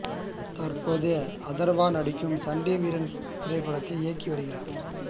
தற்போது அதர்வா நடிக்கும் சண்டி வீரன் திரைப்படத்தை இயக்கி வருகிறார்